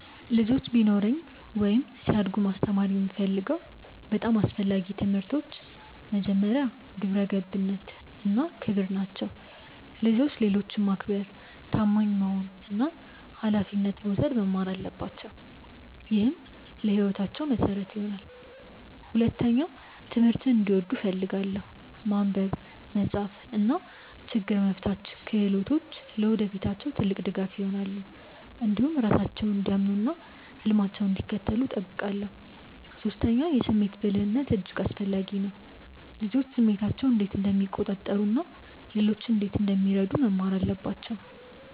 ልጆች ቢኖሩኝ ወይም ሲያድጉ ማስተማር የምፈልገው በጣም አስፈላጊ ትምህርቶች መጀመሪያ፣ ግብረ ገብነት እና ክብር ናቸው። ልጆች ሌሎችን ማክበር፣ ታማኝ መሆን እና ኃላፊነት መውሰድ መማር አለባቸው። ይህ ለሕይወታቸው መሠረት ይሆናል። ሁለተኛ፣ ትምህርትን እንዲወዱ እፈልጋለሁ። ማንበብ፣ መጻፍ እና ችግኝ መፍታት ክህሎቶች ለወደፊታቸው ትልቅ ድጋፍ ይሆናሉ። እንዲሁም ራሳቸውን እንዲያምኑ እና ህልማቸውን እንዲከተሉ እጠብቃለሁ። ሶስተኛ፣ የስሜት ብልህነት እጅግ አስፈላጊ ነው። ልጆች ስሜታቸውን እንዴት እንደሚቆጣጠሩ እና ሌሎችን እንዴት እንደሚረዱ መማር አለባቸው